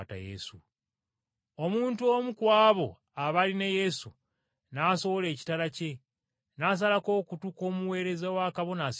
Omuntu omu ku abo abaali ne Yesu n’asowolayo ekitala kye n’asalako okutu kw’omuweereza wa Kabona Asinga Obukulu.